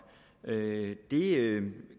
det